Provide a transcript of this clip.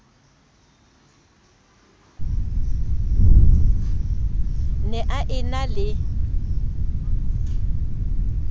ne a e na le